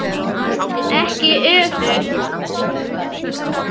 Ekki öfugt.